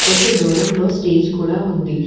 కొంచెం దూరంలో స్టేజ్ కూడా ఉంది.